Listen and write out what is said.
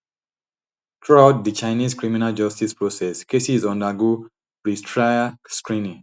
throughout di chinese criminal justice process cases undergo pretrial screening